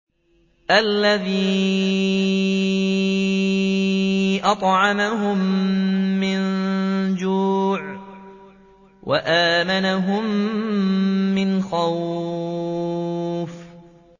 الَّذِي أَطْعَمَهُم مِّن جُوعٍ وَآمَنَهُم مِّنْ خَوْفٍ